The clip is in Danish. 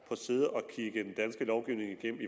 at sidde og kigge den danske lovgivning igennem